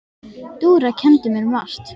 Dúra kenndi mér margt.